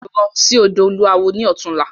Lọ sí ọ̀dọ̀ olúawo ni ọ̀túnla!